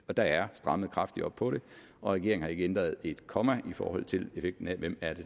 der er strammet kraftigt op på det og regeringen har ikke ændret et komma i forhold til effekten af hvem